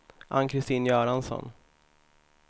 Ann-Christin Göransson